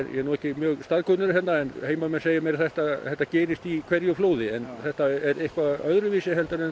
ég er nú ekkert mjög staðkunnugur hérna en heimamenn segja mér að þetta þetta gerist í hverju flóði en þetta er eitthvað öðruvísi en